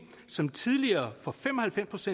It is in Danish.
som tidligere for fem og halvfems